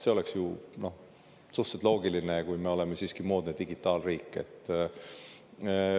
See oleks suhteliselt loogiline, kui me oleme siiski moodne digitaalriik.